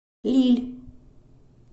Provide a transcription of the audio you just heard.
лилль